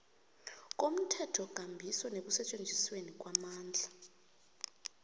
komthethokambiso nekusetjenzisweni kwamandla